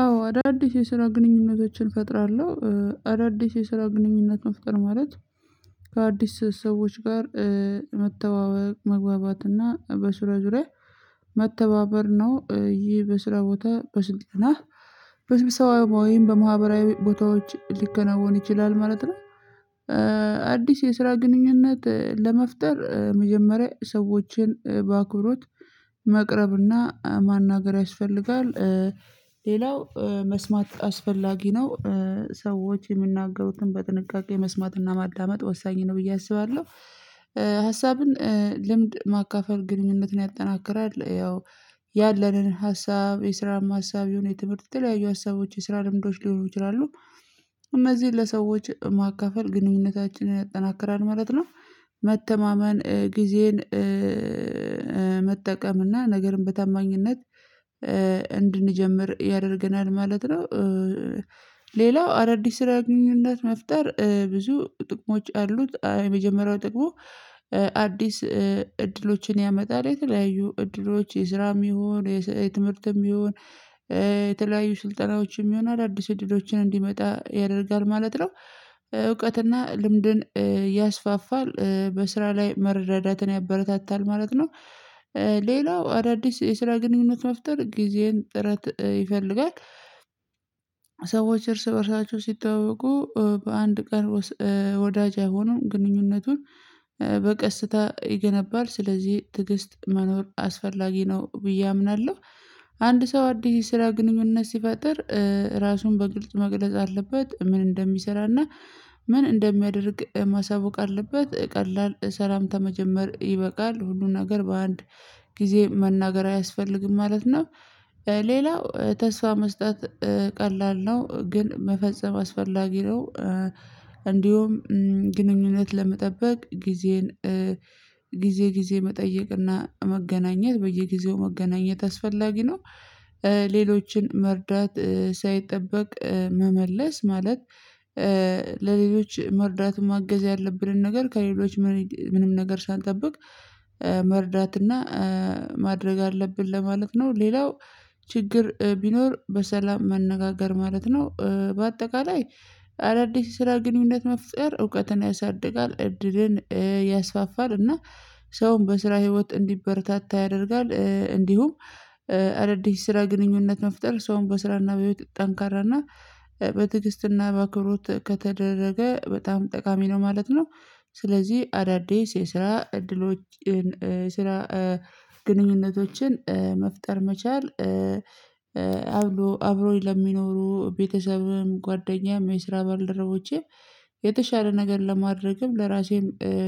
አዎ አዳዲስ የስራ ግንኙነቶችን እፈጥራለሁ አዳዲስ የስራ ግንኙነት መፍጠር ማለት ከአዲስ ሰዎች ጋር መተዋወቅ መግባባት እና በስራ ዙሪያ መተባበር ነው ይህ በስራ ቦታ በስልክና በስብሰባዊም በማህበራዊ ቦታዎች ሊከናወን ይችላል ማለት ነው። አዲስ የስራ ግንኙነት ለመፍጠር መጀመሪያ ሰዎችን በአክብሮት መቅረብና ማናገር ያስፈልጋል። ሌላው መስማት አስፈላጊ ነው። ሰዎች የሚናገሩትን በጥንቃቄ መስማትና ማዳመጥ ወሳኝ ነው ብዬ አስባለሁ። ሀሳብን ልምድ ማካፈል ግንኙነትን ያጠናክራል። ያው ሰዎች የምናገሩትን በጥንቃቄ መስማትና ማዳመጥ ወሳኝ ነው ብዬ አስባለሁ። እነዚህን ለሰዎች ማካፈል ግንኙነታችንን ያጠናክራል ማለት ነው። መተማመን ጊዜን መጠቀም እና ነገርን በታማኝነት እንድንጀምር ያደርገናል ማለት ነው። ሌላው አዳዲስ ስራ ግንኙነት መፍጠር ብዙ ጥቅሞች አሉት የመጀመሪያ ጥቅሙ። አዲስ እድሎችን ያመጣል የተለያዩ እድሎች የስራም ይሁን የትምህርትም ይሁን የተለያዩ ስልጠናዎችም ይሁን አዳዲስ እድሎችን እንዲመጣ ያደርጋል ማለት ነው። እውቀትና ልምድን ያስፋፋል በስራ ላይ መረዳዳትን ያበረታታል ማለት ነው። ሌላው አዳዲስ የስራ ግንኙነት መፍጠር ጊዜን ጥረት ይፈልጋል። ሰዎች እርስ በእርሳቸው ሲተዋወቁ በአንድ ቀን ውስጥ ወዳጅ አይሆኑም ግንኙነቱን በቀስታ ይገነባል ስለዚህ ትዕግስት መኖር አስፈላጊ ነው ብዬ አምናለሁ። አንድ ሰው አዲስ ስራ ግንኙነት ሲፈጥር አዲስ እድሎች ያመጣል የተለያዩ ዕድሎች የስራም ይሁን የትምህርትም ይሁን የተለያዩ ስልጠናዎችም ይሁን አዳዲስ ዕድሎች። ምን እንደሚያደርግ ማሳወቅ አለበት ቀላል ሰላምታ መጨመር ይበቃል ሁሉን ነገር በአንድ ጊዜ መናገር አያስፈልግም ማለት ነው። አዲስ እድሎችን ያመጣል የተለያዩ እድሎች የስራም ይሁን የትምህርትም ይሁን የተለያዩ ስልጠናዎችም ይሁን አዳዲስ እድሎችን እንዲመጣ ያደርጋል ማለት ነው። እውቀትና ልምድን ያስፋፋል በስራ ላይ መረዳትን ያበረታታል ማለት ነው። እንዲሁም ግንኙነት ለመጠበቅ ጊዜን ጊዜ ጊዜ መጠይቅ በጊዜው መገናኘት አስፈላጊ ነው። ሌሎችን መርዳት ሳይጠበቅ። መመለስ ማለት እንዲሁም ግንኙነት ለመጠበቅ ለሌሎች መርዳት ማገዝ ያለብንን ነገር ከሌሎች ምንም ነገር ሳንጠብቅ መርዳትና ማድረግ አለብን ለማለት ነው። ሌላው ችግር ቢኖር በሰላም መነጋገር ማለት ነው። በአጠቃላይ አዳዲስ ስራ ግንኙነት መፍጠር እውቀትን ያሳድጋል እድልን ያስፋፋል እና ሰውን በስራ ህይወት እንዲበረታታ ያደርጋል። እንዲሁም አዳዲስ ስራ ግንኙነት መፍጠር ሰውን በስራና በህይወት ጠንካራና በትግስትና በአክብሮት ከተደረገ በጣም ጠቃሚ ነው ማለት ነው። ስለዚህ አዳዲስ የስራ እድሎችን ስራ ግንኙነቶችን መፍጠር መቻል። አብሮኝ ለሚኖሩ ቤተሰብም ጓደኛም የስራ ባልደረቦቼም የተሻለ ነገር ለማድረግም ለራሴም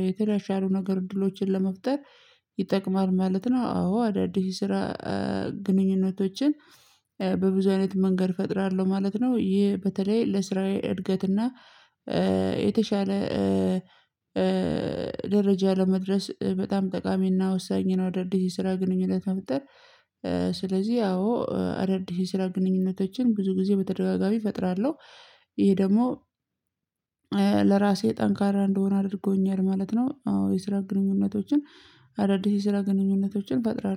የተሻሉ ነገር እድሎችን ለመፍጠር ይጠቅማል ማለት ነው። አዎ አዳዲስ ስራ ግንኙነቶችን በብዙ አይነት መንገድ እፈጥራለሁ ማለት ነው። ይሄ በተለይ ለስራዬ እድገት እና የተሻለ ደረጃ ለመድረስ በጣም ጠቃሚና ወሳኝ ነው። አዳዲስ ስራ ግንኙነት መፍጥር። ስለዚህ ያው አዳዲስ ስራ ግንኙነቶችን ብዙ ጊዜ በተደጋጋሚ እፈጥራለሁ። ይሄ ደግሞ ለራሴ ጠንካራ እንደሆን አድርጎኛል ማለት ነው። አዎ የስራ ግንኙነቶችን አዳዲስ የስራ ግንኙነቶችን እፈጥራለሁ